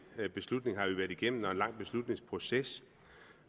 beslutning har vi været igennem og en lang beslutningsproces